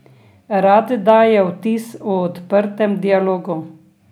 Rad daje vtis o odprtem dialogu.